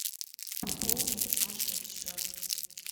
пополни саше счет